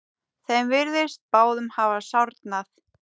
Þeim virtist báðum hafa sárnað.